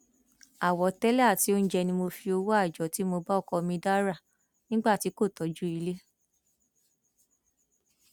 àwọtẹlẹ àti oúnjẹ ni mo fi owó àjọ tí mo bá ọkọ mi dà rà nígbà tí kò tọjú ilé